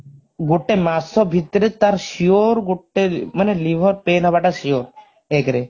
ଗୋଟେ ମାସ ଭିତରେ ତାର sure ଗୋଟେ ମାନେ liver pain ହବା ଟା sure ଏକରେ